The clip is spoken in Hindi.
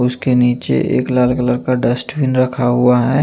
उसके नीचे एक लाल कलर का डस्टबिन रखा हुआ है।